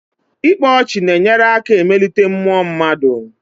Ịkpa ọchị na-enyere aka emelite mmuọ mmadụ.